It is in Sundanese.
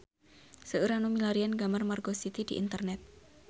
Seueur nu milarian gambar Margo City di internet